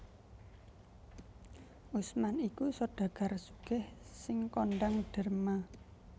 Utsman iku sodagar sugih sing kondhang derma